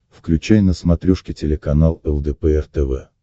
включай на смотрешке телеканал лдпр тв